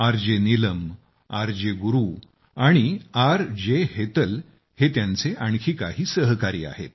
R J Neelam R J Guru आणि R J Hetal हे त्यांचे आणखी काही सहकारी आहेत